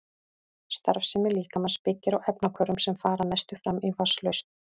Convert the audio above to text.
Starfsemi líkamans byggir á efnahvörfum sem fara að mestu fram í vatnslausn.